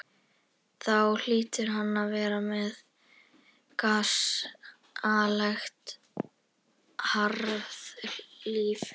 Þá hlýtur hann að vera með gasalegt harðlífi.